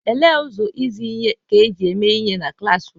Olee ụzọ izi ihe ka e ji mee ihe na klaasị?